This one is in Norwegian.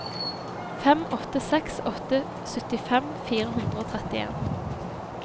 fem åtte seks åtte syttifem fire hundre og trettien